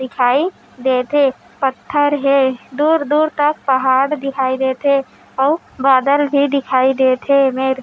दिखाई देत हे पत्थर हे दूर-दूर तक पहाड़ दिखाई देत हे अउ बादल भी दिखाई देत हे ए मेर--